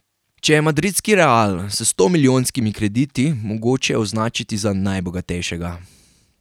Če je madridski Real s stomilijonskimi krediti mogoče označiti za najbogatejšega.